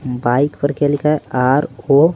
bike पर क्या लिखा है आर आो --